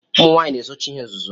Ụmụnwanyi na ezochi ihe nzuzo.